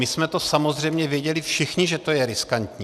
My jsme to samozřejmě věděli všichni, že to je riskantní.